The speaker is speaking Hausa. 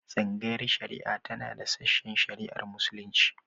Tsangayar shari'a tana da sashen shari'ar Muslunci.